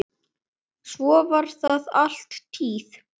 Svo var það alla tíð.